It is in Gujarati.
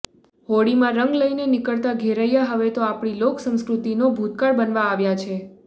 હોળીમાં રંગ લઈને નીકળતા ઘેરૈયા હવે તો આપણી લોકસંસ્કૃતિનો ભૂતકાળ બનવા આવ્યા છે